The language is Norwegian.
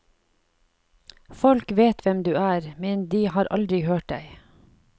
Folk vet hvem du er, men de har aldri hørt deg.